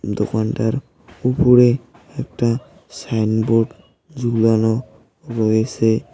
দোকানটার উপরে একটা সাইনবোর্ড ঝুলানো রয়েছে।